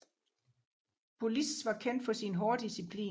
Pulis var kendt for sin hårde disciplin